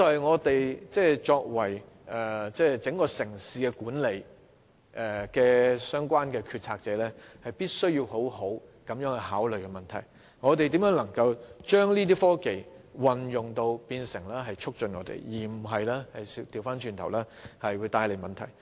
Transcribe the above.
我想這就是作為管理整個城市的決策者，必須好好考慮的問題：我們如何能運用科技以促進社會發展，而不是反而為社會帶來問題。